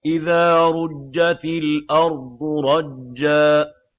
إِذَا رُجَّتِ الْأَرْضُ رَجًّا